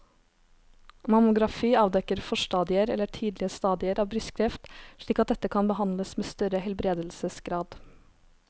Mammografi avdekker forstadier eller tidlige stadier av brystkreft slik at dette kan behandles med større helbredelsesgrad.